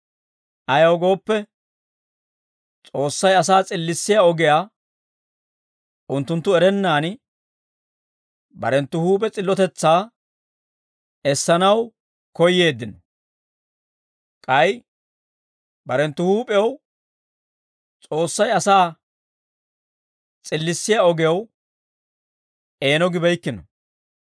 Ayaw gooppe, S'oossay asaa s'illissiyaa ogiyaa unttunttu erennaan, barenttu huup'e s'illotetsaa essanaw koyyeeddino; k'ay barenttu huup'ew S'oossay asaa s'illissiyaa ogew eeno gibeykkino.